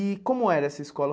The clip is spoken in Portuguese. E como era essa escola?